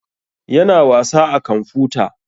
Ya na wasa a kamfuta